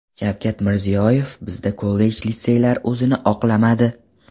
Shavkat Mirziyoyev: Bizda kollej-litseylar o‘zini oqlamadi.